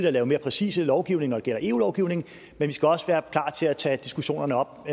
at lave mere præcise lovgivninger det gælder eu lovgivningen men vi skal også være klar til at tage diskussionerne op